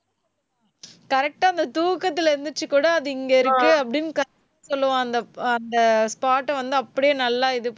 correct ஆ, அந்த தூக்கத்திலே எந்திரிச்சு கூட அது இங்கே இருக்கு அப்படின்னு correct அ சொல்லுவா அந்த, அந்த spot அ வந்து அப்படியே நல்லா இது